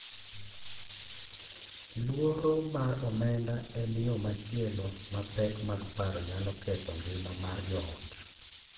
Luoro mar omenda en yo machielo ma pek mag paro nyalo ketho ngima mar joot.